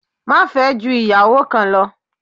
Má fẹ́ ju ìyàwó kan lo